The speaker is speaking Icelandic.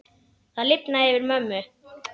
Það lifnaði yfir mömmu.